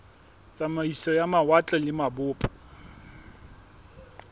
tsamaiso ya mawatle le mabopo